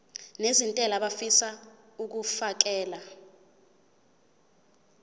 nezentela abafisa uukfakela